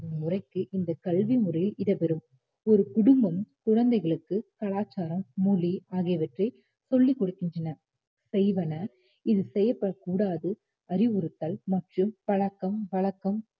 முறைக்கு இந்த கல்வி முறையில் இடம்பெறும் ஒரு குடும்பம் குழந்தைகளுக்கு கலாச்சாரம் மொழி ஆகியவற்றை சொல்லிக் கொடுக்கின்றன செய்வன இது செய்யப்படக்கூடாது அறிவுறுத்தல் மற்றும் பழக்கம் வழக்கம்